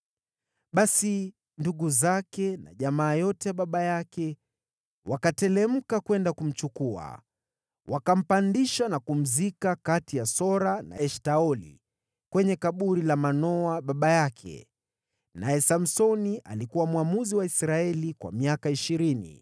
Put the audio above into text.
Basi ndugu zake na jamaa yote ya baba yake wakateremka kwenda kumchukua. Wakampandisha na kumzika kati ya Sora na Eshtaoli kwenye kaburi la Manoa baba yake. Naye Samsoni alikuwa mwamuzi wa Israeli kwa miaka ishirini.